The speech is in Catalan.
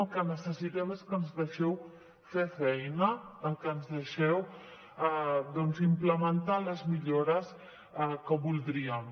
el que necessitem és que ens deixeu fer feina que ens deixeu doncs implementar les millores que voldríem